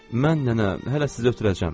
Mən nənə, hələ sizi ötürəcəm.